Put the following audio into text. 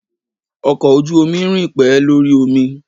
Ọkọ̀ ojú omi rìn pé lórí omi.